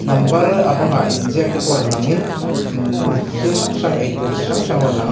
number a bangah inziak tepawh rawn lang in imm thil hrang hrang eitur chi hrang hrang ron lang a--